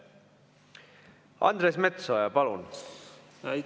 Andres Metsoja, palun!